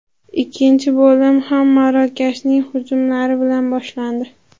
Ikkinchi bo‘lim ham Marokashning hujumlari bilan boshlandi.